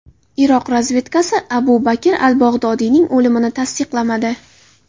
Iroq razvedkasi Abu Bakr al-Bag‘dodiyning o‘limini tasdiqlamadi.